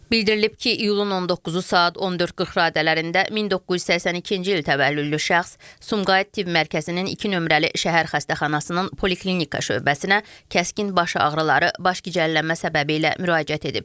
Bildirilib ki, iyulun 19-u saat 14:40 radələrində 1982-ci il təvəllüdlü şəxs Sumqayıt tibb mərkəzinin 2 nömrəli şəhər xəstəxanasının poliklinika şöbəsinə kəskin baş ağrıları, başgicəllənmə səbəbi ilə müraciət edib.